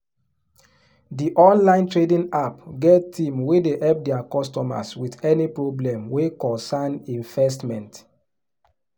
the online trading app get team wey dey help their customers with any problem wey cocern investment.